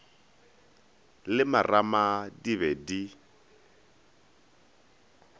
le marama di be di